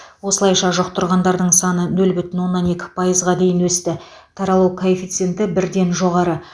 осылайша жұқтырғандардың саны нөл бүтін оннан екі пайызға дейін өсті таралу коэффициенті бірден жоғары